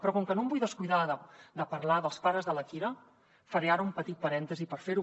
però com que no em vull descuidar de parlar dels pares de la kira faré ara un petit parèntesi per fer ho